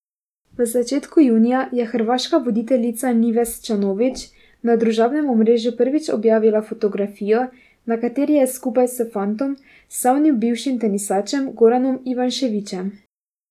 V začetku junija je hrvaška voditeljica Nives Čanović na družabnem omrežju prvič objavila fotografijo, na kateri je skupaj s fantom, slavnim bivšim tenisačem Goranom Ivaniševićem.